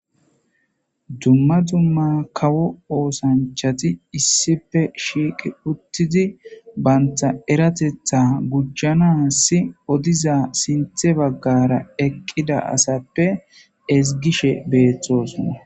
Dumma dumma kawo osanchati issippe shiiq utidi banta erateta gujanasi odiza sinthe bagara eqida asappe ezigishe betosona.